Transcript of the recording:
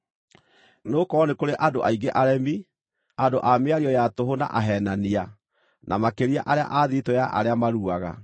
Nĩgũkorwo nĩ kũrĩ andũ aingĩ aremi, andũ a mĩario ya tũhũ na aheenania, na makĩria arĩa a thiritũ ya arĩa maruaga.